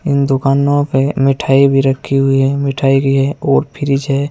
इन दुकानों पे मिठाई भी रखी हुई है मिठाई भी है और फ्रिज है।